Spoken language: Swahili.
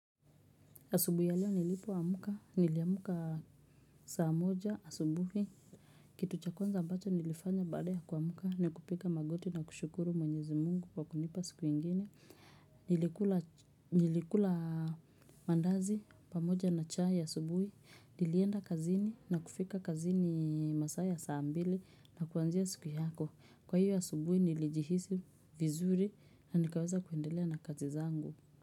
Asubu ya leo nilipoamka, niliamka saa moja asubuhi. Kitu cha kwanza ambacho nilifanya baada ya kuamka na kupiga magoti na kushukuru mwenyezi mungu kwa kunipa siku ingine. Nilikula mandazi pamoja na chai asubuhi. Nilienda kazini na kufika kazini masaa ya saa mbili na kuanzia siku yako. Kwa hiyo asubuhi nilijihisi vizuri na nikaweza kuendelea na kazi zangu.